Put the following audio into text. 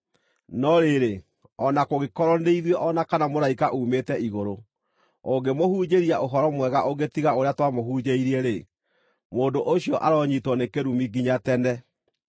No rĩrĩ, o na kũngĩkorwo nĩ ithuĩ o na kana mũraika uumĩte igũrũ, ũngĩmũhunjĩria ũhoro mwega ũngĩ tiga ũrĩa twamũhunjĩirie-rĩ, mũndũ ũcio aronyiitwo nĩ kĩrumi nginya tene!